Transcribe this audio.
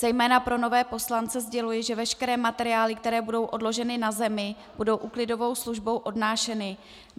Zejména pro nové poslance sděluji, že veškeré materiály, které budou odložené na zemi, budou úklidovou službou odnášeny.